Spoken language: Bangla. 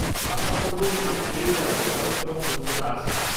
-আশা করব তুমি পেয়ে যাও কারণ তোমার দক্ষতা আছে।